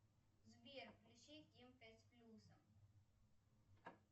сбер включи ким пять с плюсом